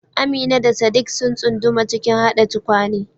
Amina da Sadiq sun tsunduma cikin haɗa tukwane.